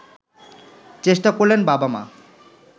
চেষ্টা করলেন বাবা-মা